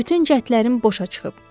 Bütün cəhdlərim boşa çıxıb.